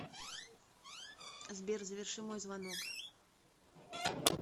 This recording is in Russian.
сбер заверши мой звонок